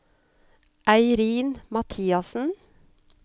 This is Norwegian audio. Eirin Mathiassen